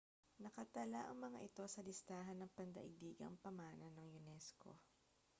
nakatala ang mga ito sa listahan ng pandaigdigang pamana ng unesco